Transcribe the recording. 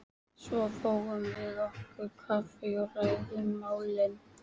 Svo fáum við okkur kaffi og ræðum málin.